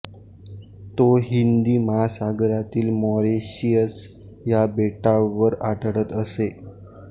तो हिंदी महासागरातील मॉरिशस या बेटावर आढळत असे